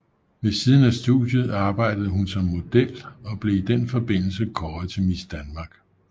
Ved siden af studiet arbejdede hun som model og blev i den forbindelse kåret til Miss Danmark